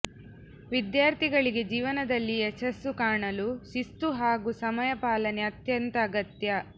ವಿದ್ಯಾರ್ಥಿಗಳಿಗೆ ಜೀವನದಲ್ಲಿ ಯಶಸ್ಸು ಕಾಣಲು ಶಿಸ್ತು ಹಾಗೂ ಸಮಯ ಪಾಲನೆ ಅತ್ಯಂತ ಅಗತ್ಯ